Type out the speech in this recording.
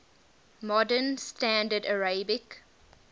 modern standard arabic